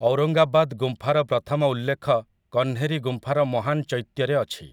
ଔରଙ୍ଗାବାଦ ଗୁମ୍ଫାର ପ୍ରଥମ ଉଲ୍ଲେଖ କହ୍ନେରୀ ଗୁମ୍ଫାର ମହାନ ଚୈତ୍ୟରେ ଅଛି ।